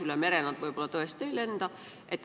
Üle mere nad tõesti võib-olla ei lenda.